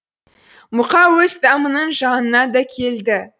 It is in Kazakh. мұқа өз тамының жанына да келді